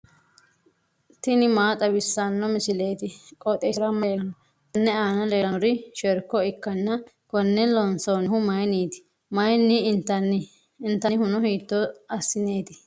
tini maa xawissanno misileeti? qooxeessisera may leellanno? tenne aana leellannori sherko ikkanna konne loonsannihu mayiinniti? mayiinni intanni? intannihuno hiitto assineeti?